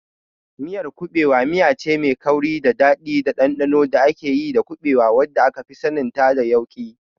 Miyar kuɓewa miyace mai kauri, mai daɗi da ɗanɗano da ake yi da kuɓewa, wadda akafi saninta da yauƙi.